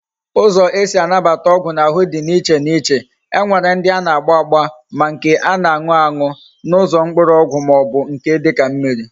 Uzo ezi anabata ogwu na ahu di na iche na iche. E nwere ndi ana agba agba, ma nke ana anu any na Uzo mkpuru ogwu ma o bu nke dika mmiri